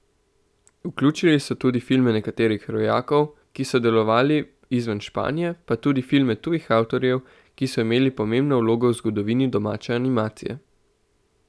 Vključili so tudi filme nekaterih rojakov, ki so delovali izven Španije, pa tudi filme tujih avtorjev, ki so imeli pomembno vlogo v zgodovini domače animacije.